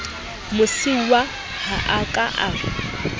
mosiuwa ha a ka a